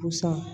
Pusa